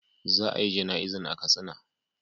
Za a yi jana'izan a katsina.